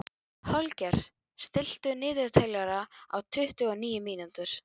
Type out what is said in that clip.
Holger, stilltu niðurteljara á tuttugu og níu mínútur.